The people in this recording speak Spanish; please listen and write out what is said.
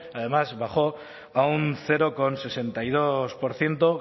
además bajó a un cero coma sesenta y dos por ciento